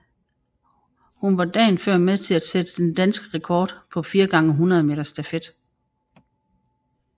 Hun var dagen før med til at sætte den danske rekord på 4 x 100 meter stafet